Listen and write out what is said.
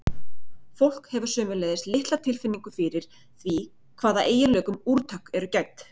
Fólk hefur sömuleiðis litla tilfinningu fyrir því hvaða eiginleikum úrtök eru gædd.